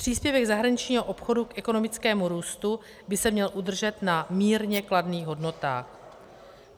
Příspěvek zahraničního obchodu k ekonomickému růstu by se měl udržet na mírně kladných hodnotách.